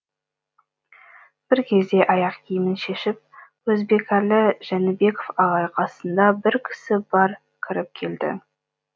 бір кезде аяқ киімін шешіп өзбекәлі жәнібеков ағай қасында бір кісі бар кіріп келді